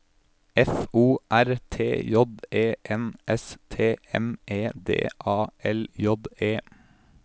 F O R T J E N S T M E D A L J E